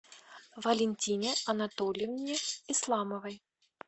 валентине анатольевне исламовой